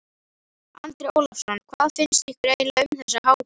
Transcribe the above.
Andri Ólafsson: Hvað finnst ykkur eiginlega um þessa hátíð?